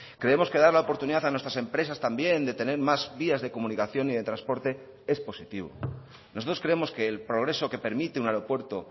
creemos que dar la oportunidad a nuestras empresas también de tener más vías de comunicación y de transporte es positivo nosotros creemos que el progreso que permite un aeropuerto